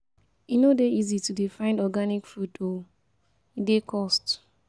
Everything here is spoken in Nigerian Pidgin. E no dey easy to dey find organic food o, e dey cost.